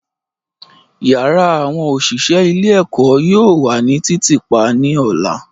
Yara awọn oṣiṣẹ ile-eko yoo wa ni titiipa ni ọla.